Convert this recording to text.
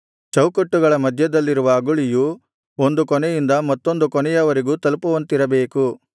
ಚೌಕಟ್ಟುಗಳ ಮಧ್ಯದಲ್ಲಿರುವ ಅಗುಳಿಯು ಒಂದು ಕೊನೆಯಿಂದ ಮತ್ತೊಂದು ಕೊನೆಯವರೆಗೂ ತಲುಪುವಂತಿರಬೇಕು